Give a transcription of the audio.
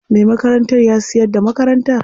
Me makarantar ya siyar da makarantar.